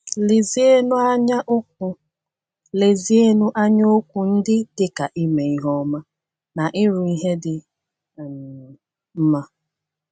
Lezienụ anya okwu Lezienụ anya okwu ndị dị ka “ime ihe ọma” na “ịrụ ihe dị um mma.”